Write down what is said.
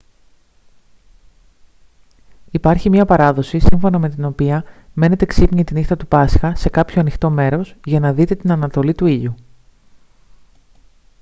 υπάρχει μια παράδοση σύμφωνα με την οποία μένετε ξύπνιοι τη νύχτα του πάσχα σε κάποιο ανοιχτό μέρος για να δείτε την ανατολή του ήλιου